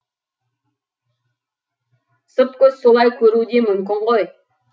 сырт көз солай көруі де мүмкін ғой